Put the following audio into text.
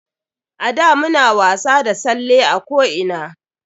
A da muna wasa da salle a ko ina.